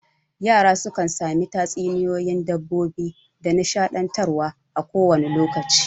Yara sukan sami tatsuniyoyin dabbobi da nishaɗantar wa a ko wane lokaci